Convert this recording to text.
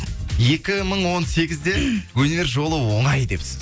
екі мың он сегізде өнер жолы оңай депсіз